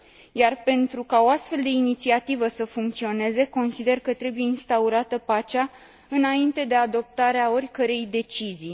Iar, pentru ca o astfel de inițiativă să funcționeze, consider că trebuie instaurată pacea, înainte de adoptarea oricărei decizii.